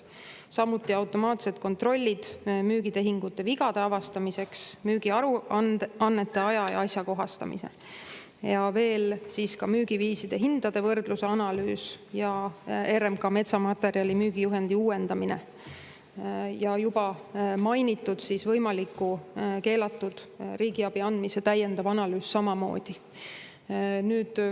Samuti automaatsed kontrollid müügitehingute vigade avastamiseks, müügiaruannete aja‑ ja asjakohastamine, müügiviiside hindade võrdlusanalüüs, RMK metsamaterjali müügi juhendi uuendamine ja juba mainitud võimaliku keelatud riigiabi andmise täiendav analüüs samamoodi.